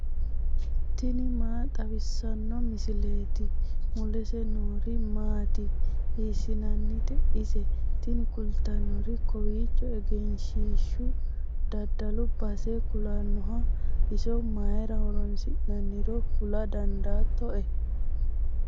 tini maa xawissanno misileeti ? mulese noori maati ? hiissinannite ise ? tini kultannori kawiicho egenshshiishu dadalu base kulannoho iso mayra horoonisi'noonniiro kula dan daattoe